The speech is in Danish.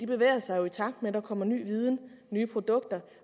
bevæger sig i takt med at der kommer ny viden og nye produkter